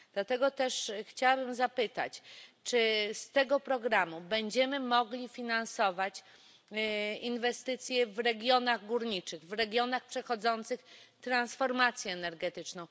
Dlatego też chciałabym zapytać, czy z tego programu będziemy mogli finansować inwestycje w regionach górniczych, w regionach przechodzących transformację energetyczną.